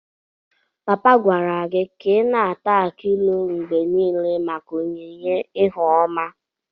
Papa gwara gi ka i na-ata akị ilu mgbe nile maka onyinye ihu oma